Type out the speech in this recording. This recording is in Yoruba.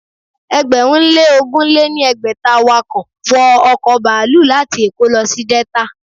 Ẹgbẹ̀rún lé ogún lé ní ẹgbẹ́ta awọkọ̀ wọ ọ̀kọ̀ baluu láti èkó lọ sí Delta